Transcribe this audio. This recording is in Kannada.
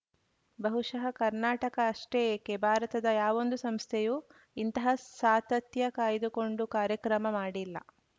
ಬಹುಶಃ ಕರ್ನಾಟಕ ಅಷ್ಟೇ ಏಕೆ ಭಾರತದ ಯಾವೊಂದು ಸಂಸ್ಥೆಯೂ ಇಂತಹ ಸಾತತ್ಯ ಕಾಯ್ದುಕೊಂಡು ಕಾರ್ಯಕ್ರಮ ಮಾಡಿಲ್ಲ